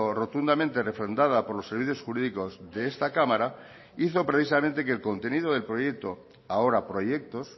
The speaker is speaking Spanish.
rotundamente refrendada por los servicios jurídicos de esta cámara hizo precisamente que el contenido del proyecto ahora proyectos